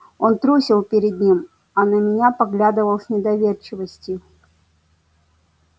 он трусил перед ним а на меня поглядывал с недоверчивостию